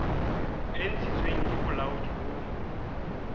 e ntshitsweng ke bolaodi bo